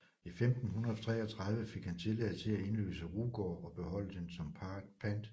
I 1533 fik han tilladelse til at indløse Rugård og beholde den som pant